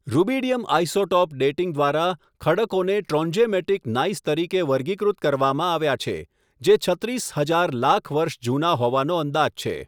Rubidium isotope dating દ્વારા ખડકોને trondhjemitic gneiss તરીકે વર્ગીકૃત કરવામાં આવ્યા છે, જે છત્રીસ હજાર લાખ વર્ષ જૂના હોવાનો અંદાજ છે.